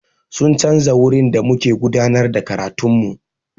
Sun canza wurin da muke gudanar da karatun mu.